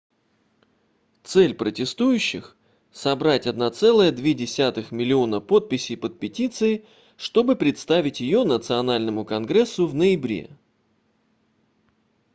цель протестующих собрать 1,2 миллиона подписей под петицией чтобы представить ее национальному конгрессу в ноябре